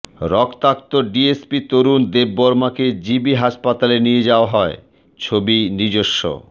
রক্তাক্ত ডিএসপি তরুণ দেববর্মাকে জিবি হাসপাতালে নিয়ে যাওয়া হয় ছবি নিজস্ব